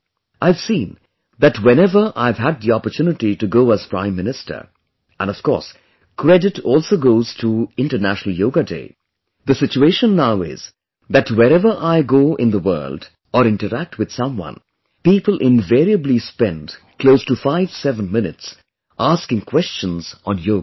I have seen that whenever I have had the opportunity to go as Prime Minister, and of course credit also goes to International Yoga Day, the situation now is that wherever I go in the world or interact with someone, people invariably spend close to 57 minutes asking questions on yoga